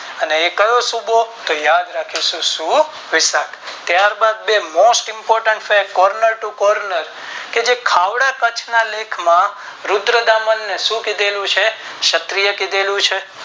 અને એ કયો સૂબો તો યાદ રાખીશું શુવિશખ ત્યાર બાદ Most important છે Corner to corner કે જે ખાવડા કચ્છ ના લેખ માં રુદ્રતામણ ને શું કીધેલું છે ક્ષત્રિય કીધેલું છે.